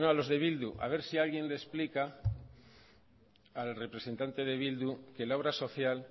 los de bildu a ver si alguien le explica al representante de bildu que la obra social